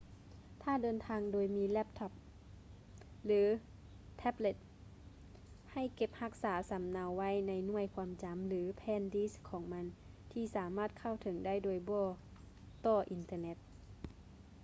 ຖ້າເດີນທາງໂດຍມີແລັບທັອບ ຫຼື ແທັບເລັດ ໃຫ້ເກັບຮັກສາສຳເນົາໄວ້ໃນໜ່ວຍຄວາມຈຳ ຫຼື ແຜ່ນດິດຂອງມັນ ທີ່ສາມາດເຂົ້າເຖິງໄດ້ໂດຍບໍ່ຕໍ່ອິນເຕີເນັດ